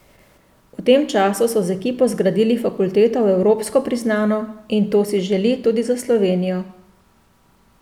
V tem času so z ekipo zgradili fakulteto v evropsko priznano in to si želi tudi za Slovenijo.